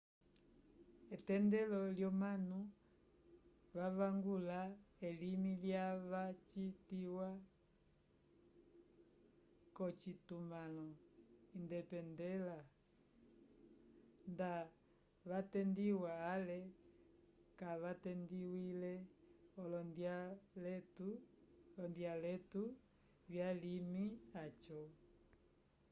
etendelo lyomanu vavangula elimi lyava vacitiwa k'ocitumãlo independela nda vatendiwa ale kavatendiwile olondyaletu vyalimi aco